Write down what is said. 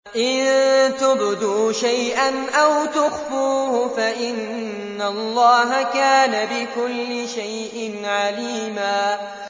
إِن تُبْدُوا شَيْئًا أَوْ تُخْفُوهُ فَإِنَّ اللَّهَ كَانَ بِكُلِّ شَيْءٍ عَلِيمًا